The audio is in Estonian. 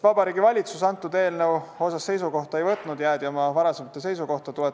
Vabariigi Valitsus eelnõu kohta seisukohta ei võtnud, jäädi oma varasema seisukoha juurde.